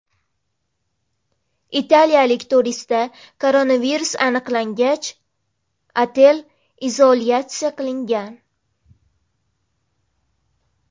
Italiyalik turistda koronavirus aniqlangach, otel izolyatsiya qilingan.